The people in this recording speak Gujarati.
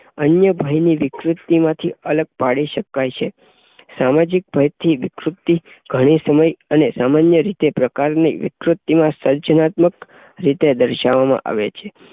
અન્ય ભયની વિકૃતિ માથી અલગ પાડી શકાય છે. સામાજિક ભયથી વિકૃતિ ઘણી સમય અને સામાન્ય રીતે પ્રકારની વિકૃતિ માં સર્જનાત્મક રીતે દર્શાવવામા આવે છે.